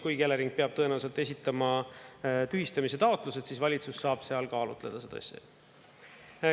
Kuigi Elering peab tõenäoliselt esitama tühistamise taotlused, siis valitsus saab seal kaalutleda seda asja.